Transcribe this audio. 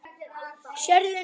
Sérðu nú?